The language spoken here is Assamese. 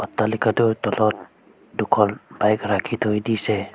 অট্টালিকাটোৰ তলত দুখন বাইক ৰাখি থৈ দিছে।